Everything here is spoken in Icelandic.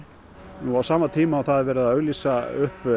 nú á sama tíma og það er verið að auglýsa upp